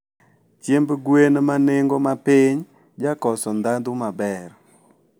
chiemb gwen ma nengo mapiny jakoso ndhandhu maber.